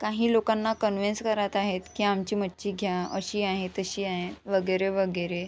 काही लोकाना कन्व्हिन्स करत आहेत की आमची मच्छी घ्या अशी आहे तशी आहे वगैरेवगैरे.